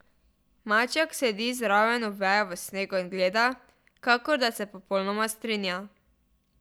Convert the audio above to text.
Maček sedi zraven Oveja v snegu in gleda, kakor da se popolnoma strinja.